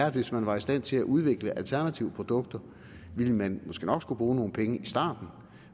at hvis man var i stand til at udvikle alternative produkter ville man måske nok skulle bruge nogle penge i starten